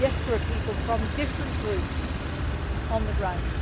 Yes, there are people from different groups on the ground.